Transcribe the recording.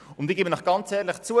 Und ich gebe ehrlich zu: